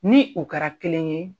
Ni u kara kelen ye